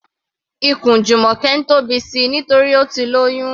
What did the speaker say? Ikùn Jumoke ń tóbi síi nítorí Ó ti lóyún.